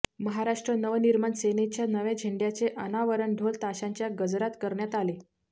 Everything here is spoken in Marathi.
महाराष्ट्र नवनिर्माण सेनेच्या नव्या झेंड्याचे अनावरण ढोल ताशांच्या गजरात करण्यात आले